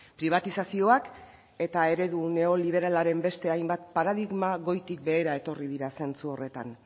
pribatizazioak eta eredu neoliberalaren beste hainbat paradigma goitik behera etorri dira zentzu horretan